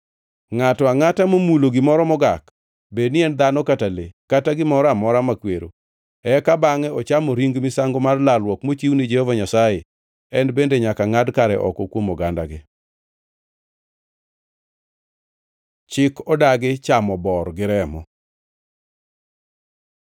Ngʼato angʼata momulo gimoro mogak, bedni en dhano kata le, kata gimoro amora makwero, eka bangʼe ochamo ring misango mar lalruok mochiw ni Jehova Nyasaye, en bende nyaka ngʼad kare oko kuom ogandagi.’ ” Chik odagi chamo bor gi remo